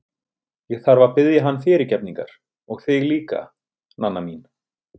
Ég þarf að biðja hann fyrirgefningar og þig líka, Nanna mín.